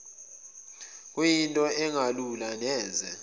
bekuyinto engelula neze